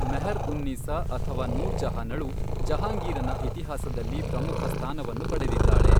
ಮೆಹರ್ ಉನ್ ನೀಸಾ ಅಥವಾ ನೂರ್ ಜಹಾನಳು ಜಹಾಂಗೀರನ ಇತಿಹಾಸದಲ್ಲಿ ಪ್ರಮುಖ ಸ್ಥಾನವನ್ನು ಪಡೆದಿದ್ದಾಳೆ.